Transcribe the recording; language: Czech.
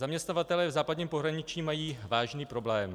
Zaměstnavatelé v západním pohraničí mají vážný problém.